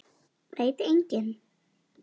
Veit enginn?